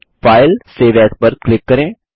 फाइलगटीजीटी save as पर click करें